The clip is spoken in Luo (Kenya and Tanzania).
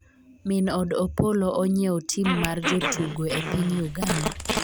Min od Opollo onyiewo tim mar jotugo e piny Uganda